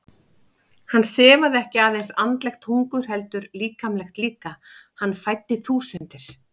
Hann sefaði ekki aðeins andlegt hungur heldur líkamlegt líka, hann fæddi þúsundir.